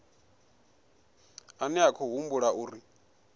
ane a khou humbulelwa uri